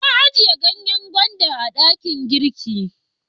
Na a jiya ganyen gwanda a dakin girki.